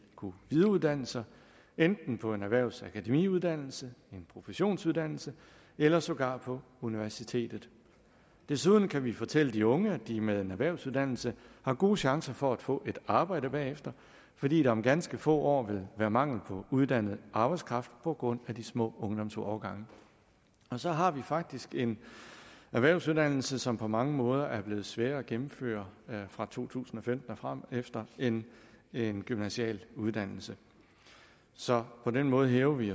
kunne videreuddanne sig enten på en erhvervsakademiuddannelse en professionsuddannelse eller sågar på universitetet desuden kan vi fortælle de unge at de med en erhvervsuddannelse har gode chancer for at få et arbejde bagefter fordi der om ganske få år vil være mangel på uddannet arbejdskraft på grund af de små ungdomsårgange så har vi faktisk en erhvervsuddannelse som på mange måder er blevet sværere at gennemføre fra to tusind og fem og fremefter end en gymnasial uddannelse så på den måde hæver vi